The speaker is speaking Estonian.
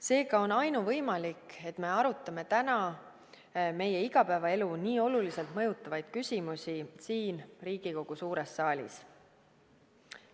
Seega on ainuvõimalik, et me arutame täna meie igapäevaelu nii oluliselt mõjutavaid küsimusi siin Riigikogu suures saalis.